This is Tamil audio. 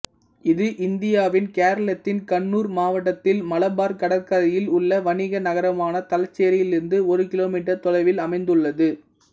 இது இந்தியாவின் கேரளத்தின் கண்ணூர் மாவட்டத்தில் மலபார் கடற்கரையில் உள்ள வணிக நகரமான தலச்சேரியிலிருந்து ஒரு கிலோமீட்டர் தொலைவில் அமைந்துள்ளது